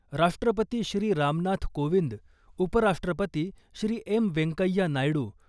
राष्ट्रपती श्री . रामनाथ कोविंद , उपराष्ट्रपती श्री .एम व्यंकय्या नायडू